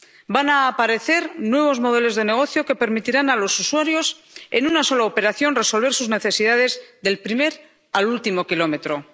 Van a aparecer nuevos modelos de negocio que permitirán a los usuarios, en una sola operación, resolver sus necesidades del primer al último kilómetro.